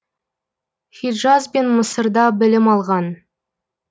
хиджаз бен мысырда білім алған